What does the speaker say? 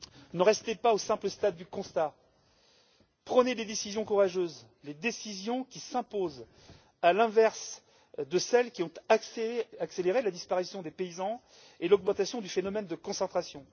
Ne restez pas au simple stade du constat, prenez des décisions courageuses les décisions qui s'imposent, à l'inverse de celles qui ont accéléré la disparition des paysans et l'augmentation du phénomène de concentration.